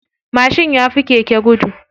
Mashin yafi keke gudu.